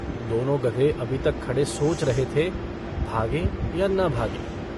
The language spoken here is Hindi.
दोनों गधे अभी तक खड़े सोच रहे थे भागें या न भागें।